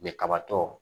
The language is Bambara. kabatɔ